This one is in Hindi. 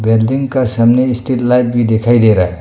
बिल्डिंग का सामने स्टील लाइट भी दिखाई दे रहा है।